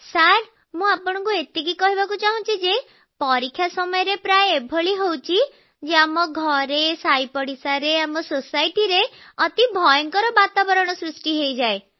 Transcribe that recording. sir ମୁଁ ଆପଣଙ୍କୁ ଏତିକି କହିବାକୁ ଚାହୁଁଛି ଯେ ପରୀକ୍ଷା ସମୟରେ ପ୍ରାୟ ଏଭଳି ହେଉଛି ଯେ ଆମ ଘରେ ସାହି ପଡ଼ିଶାରେ ଆମ ସୋସାଇଟିରେ ଅତି ଭୟଙ୍କର ବାତାବରଣ ସୃଷ୍ଟି ହୋଇଯାଏ